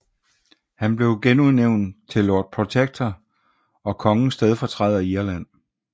Han blev genudnævnt til Lord Protector og kongens stedfortræder i Irland